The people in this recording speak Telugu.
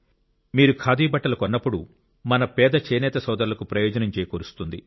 మీరు ఖాదీ బట్టలు కొన్నప్పుడు మన పేద చేనేత సోదరులకు ప్రయోజనం చేకూరుస్తుంది